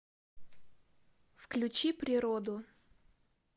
включи природу